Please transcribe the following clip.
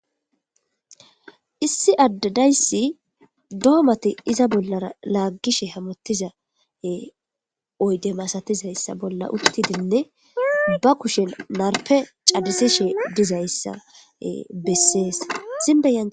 Issi addadayssi doomati iza bollara laaggishe hamotiza oyde masatizayssa bolla uttidinne ba kushen narpe cadisishe dizayssa besseeszibea.